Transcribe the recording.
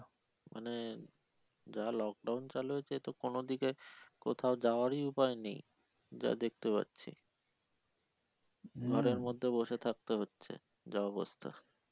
মানে যা lockdown চালু হয়েছে এতো কোন দিকে কোথাও যাওয়ারই উপায় নেই যা দেখতে পারছি ঘরের মধ্যে বসে থাকতে হচ্ছে যা অবস্থা।